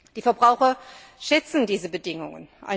Die Verbraucher schätzen diese Bedingungen.